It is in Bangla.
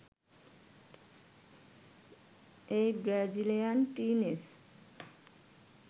এই ব্রাজিলিয়ান টিনএজ